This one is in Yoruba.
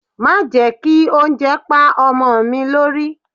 Má jẹ́ kí oúnjẹ pá ọmọ mi lórí.